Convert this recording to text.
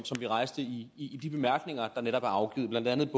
vi rejste i de bemærkninger der netop er afgivet blandt andet